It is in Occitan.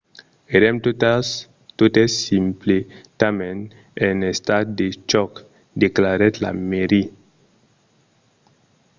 "èrem totes simpletament en estat de chòc, declarèt la maire